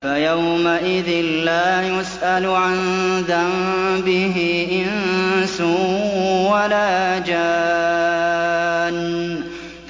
فَيَوْمَئِذٍ لَّا يُسْأَلُ عَن ذَنبِهِ إِنسٌ وَلَا جَانٌّ